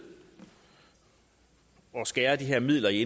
at skære i de her midler i